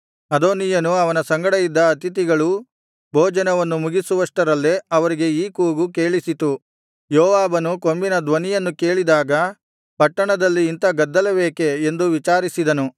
ಅದೋನೀಯನು ಅವನ ಸಂಗಡ ಇದ್ದ ಅತಿಥಿಗಳೂ ಭೋಜನವನ್ನು ಮುಗಿಸುವಷ್ಟರಲ್ಲೇ ಅವರಿಗೆ ಈ ಕೂಗು ಕೇಳಿಸಿತು ಯೋವಾಬನು ಕೊಂಬಿನ ಧ್ವನಿಯನ್ನು ಕೇಳಿದಾಗ ಪಟ್ಟಣದಲ್ಲಿ ಇಂಥ ಗದ್ದಲವೇಕೆ ಎಂದು ವಿಚಾರಿಸಿದನು